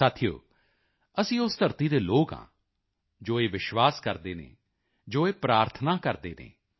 ਸਾਥੀਓ ਅਸੀਂ ਉਸ ਧਰਤੀ ਦੇ ਲੋਕ ਹਾਂ ਜੋ ਇਹ ਵਿਸ਼ਵਾਸ ਕਰਦੇ ਹਨ ਜੋ ਇਹ ਪ੍ਰਾਰਥਨਾ ਕਰਦੇ ਹਨ